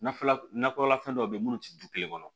Nakɔlafɛn dɔ bɛ yen minnu tɛ du kelen kɔnɔ